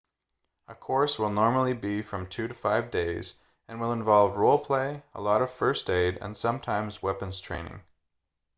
a course will normally be from 2-5 days and will involve role play a lot of first aid and sometimes weapons training